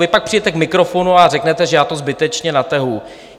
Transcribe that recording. Vy pak přijdete k mikrofonu a řeknete, že já to zbytečně natahuji.